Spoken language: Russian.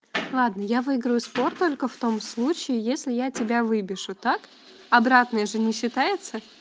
ладно я выиграю спор только в том случае если я тебя выбешу так обратное же не считается